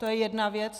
To je jedna věc.